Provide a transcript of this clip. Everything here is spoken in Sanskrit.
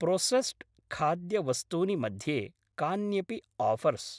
प्रोसेस्स्ड् खाद्यवस्तूनि मध्ये कान्यपि आफर्स्?